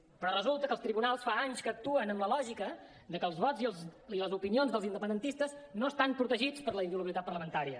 però resulta que els tribunals fa anys que actuen amb la lògica de que els vots i les opinions dels independentistes no estan protegits per la inviolabilitat parlamentària